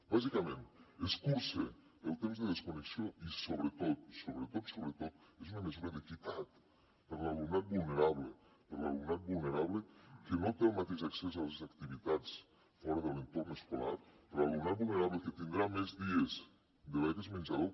bàsicament escurça el temps de desconnexió i sobretot sobretot sobretot és una mesura d’equitat per a l’alumnat vulnerable per a l’alumnat vulnerable que no té el mateix accés a les activitats fora de l’entorn escolar per a l’alumnat vulnerable que tindrà més dies de beques menjador